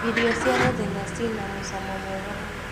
Irio cia mũthenya cina mũcamo mwega mũno.